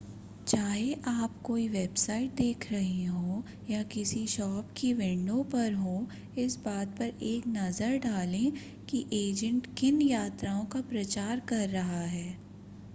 चाहे आप कोई वेबसाइट देख रहे हों या किसी शॉप की विंडो पर हों इस बात पर एक नज़र डालें कि एजेंट किन यात्राओं का प्रचार कर रहा है